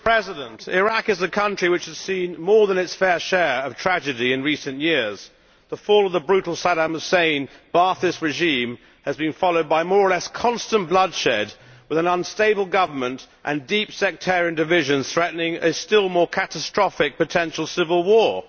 Mr President, Iraq is a country which has seen more than its fair share of tragedy in recent years the fall of the brutal Saddam Hussein's Ba'athist regime has been followed by more or less constant bloodshed, with an unstable government and deep sectarian divisions threatening a still more catastrophic potential civil war.